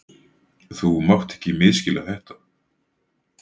Þú mátt ekki misskilja þetta.